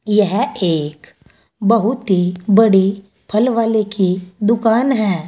यह एक बहुत ही बड़ी फल वाले की दुकान है।